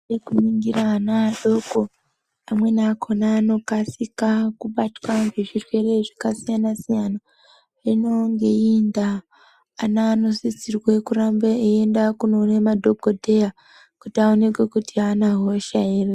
Kuningira ana adoko, amweni akhona anokasika kubatwa ngezvirwere zvakasiyana-siyana, hino ngeiyi ndaa ana anosiriswe kuramba eienda kunone madhokodheya kuti aonekwe kuti ana hosha ere .